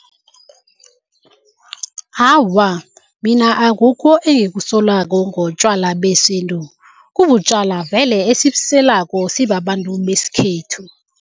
Awa, mina akukho engikusolako ngotjwala besintu. Kubutjwala vele esibuselako sibabantu besikhethu.